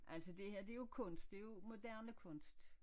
Altså det her det jo kunst det jo moderne kunst